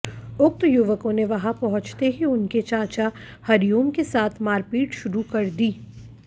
उक्त युवकों ने वहां पहुंचते ही उनके चाचा हरिओम के साथ मारपीट शुरू कर दी